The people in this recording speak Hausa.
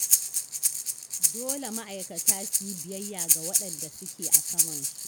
Dole ma'aikata su yi biyayya ga waɗanda suke a samansu.